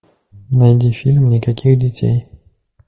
найди фильм никаких детей